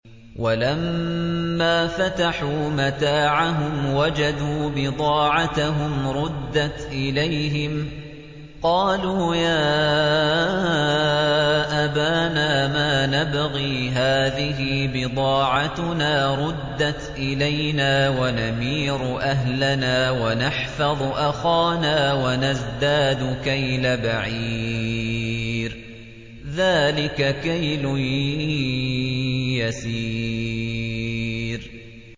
وَلَمَّا فَتَحُوا مَتَاعَهُمْ وَجَدُوا بِضَاعَتَهُمْ رُدَّتْ إِلَيْهِمْ ۖ قَالُوا يَا أَبَانَا مَا نَبْغِي ۖ هَٰذِهِ بِضَاعَتُنَا رُدَّتْ إِلَيْنَا ۖ وَنَمِيرُ أَهْلَنَا وَنَحْفَظُ أَخَانَا وَنَزْدَادُ كَيْلَ بَعِيرٍ ۖ ذَٰلِكَ كَيْلٌ يَسِيرٌ